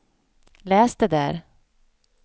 läs det där